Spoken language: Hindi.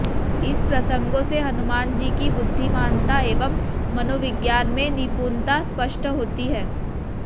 इन प्रसंगों से हनुमानजी की बुद्धिमानता एवं मनोविज्ञान में निपुणता स्पष्ट होती है